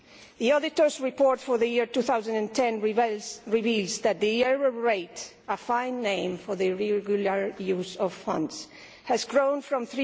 The auditors' report for the year 2010 reveals that the error rate a fine name for the irregular use of funds has grown from